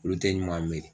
Olu tɛ ɲuman miiri